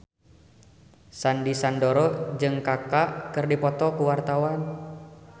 Sandy Sandoro jeung Kaka keur dipoto ku wartawan